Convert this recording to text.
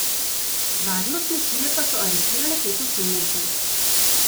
Varnostne sile pa so aretirale pet osumljencev.